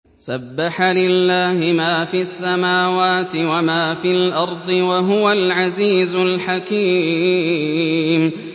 سَبَّحَ لِلَّهِ مَا فِي السَّمَاوَاتِ وَمَا فِي الْأَرْضِ ۖ وَهُوَ الْعَزِيزُ الْحَكِيمُ